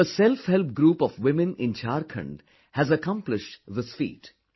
A self help group of women in Jharkhand have accomplished this feat